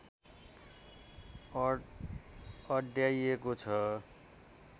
अड्याइएको छ